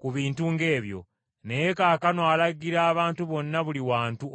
ku bintu ng’ebyo, naye kaakano alagira abantu bonna buli wantu okwenenya.